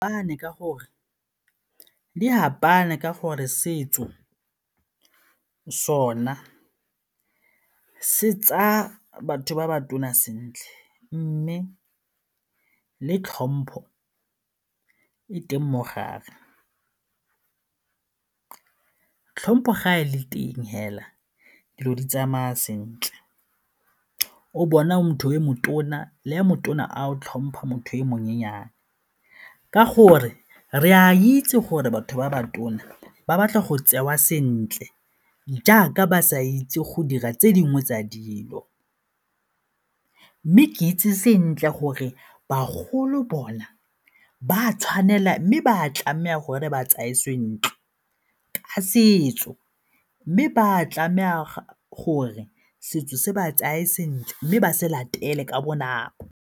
Di fapane ka gore setso sona se tsaya batho ba ba tona sentle mme le tlhompho e teng mo gare, tlhompho ga e le teng fela dilo di tsamaya sentle, o bona motho o motona le ya motona a o tlhompha motho e monyennyane ka gore re a itse gore batho ba ba tona ba batla go tseiwa sentle jaaka ba sa itse go dira tse dingwe tsa dilo. Mme ke itse sentle gore bagolo bona ba a tshwanela mme ba a tlameha gore ba tseye sentle ka setso mme ba a tlameha gore setso se ba tsaye sentle mme ba se latele ka bonako.